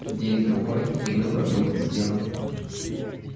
день-другой и выбор будет сделан